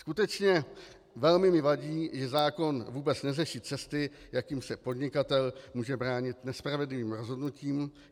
Skutečně mi velmi vadí, že zákon vůbec neřeší cesty, jakým se podnikatel může bránit nespravedlivým rozhodnutím.